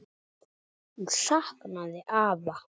Hún saknaði afa.